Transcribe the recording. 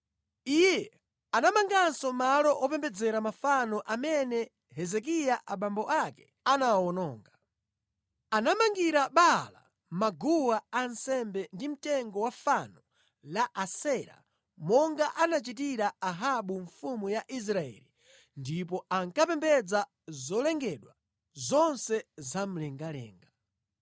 Iyetu anamanganso malo opembedzera mafano amene Hezekiya abambo ake anawawononga. Anamangira Baala maguwa a nsembe ndi mtengo wa fano la Asera monga anachitira Ahabu mfumu ya Israeli ndipo ankapembedza zolengedwa zonse zamlengalenga.